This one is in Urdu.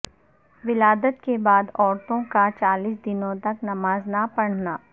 ولادت کے بعد عورتوں کا چالیس دنوں تک نماز نہ پڑھنا